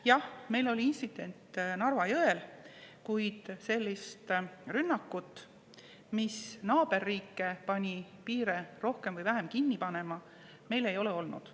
Jah, meil oli intsident Narva jõel, kuid sellist rünnakut, mis naaberriike pani piire rohkem või vähem kinni panema, meil ei ole olnud.